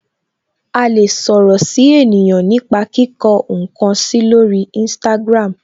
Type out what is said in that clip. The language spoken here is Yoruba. A lè sọ̀rọ̀ si ènìyàn nipa kíkọ nkan si lori instagram.